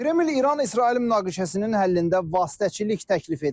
Kremlin İran-İsrail münaqişəsinin həllində vasitəçilik təklif edir.